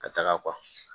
Ka taga